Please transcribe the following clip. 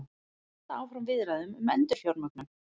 Halda áfram viðræðum um endurfjármögnun